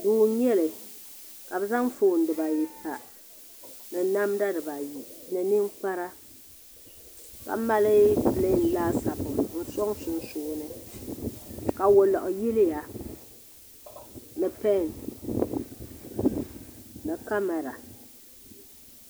Duu n nyɛli ka bi zaŋ foon dibayi pa ni namda dibayi ni ninkpara ka mali pileen laasabu n sɔŋ sunsuuni ka woliɣi yiliya ni pen ni kamɛra